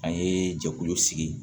An ye jɛkulu sigi